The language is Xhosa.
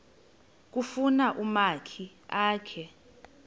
kufuna umakhi akhe